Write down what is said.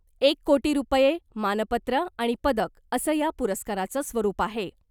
एक कोटी रूपये , मानपत्र आणि पदक असं या पुरस्काराचं स्वरूप आहे .